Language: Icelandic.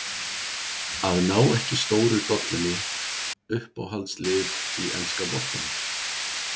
Að ná ekki stóru dollunni Uppáhaldslið í enska boltanum?